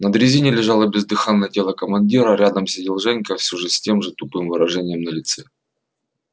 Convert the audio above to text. на дрезине лежало бездыханное тело командира рядом сидел женька все с тем же тупым выражением на лице